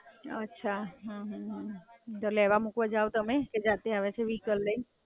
અચ્છા, હાં, હાં. તો લેવા મૂકવા જો તમે? કે જાતે આવે છે વેહિકલ લઈને.